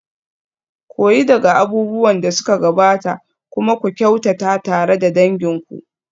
Koyi daga abubuwan da suka gabata kuma ku kyautata tare da dangin ku.